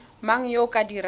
mang yo o ka dirang